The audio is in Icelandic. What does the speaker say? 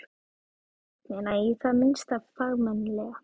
Raufst þögnina í það minnsta fagmannlega.